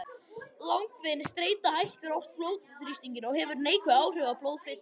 Langvinn streita hækkar oft blóðþrýsting og hefur neikvæð áhrif á blóðfitur.